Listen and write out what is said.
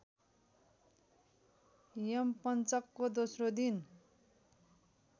यमपञ्चकको दोस्रो दिन